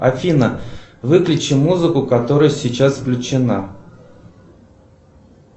афина выключи музыку которая сейчас включена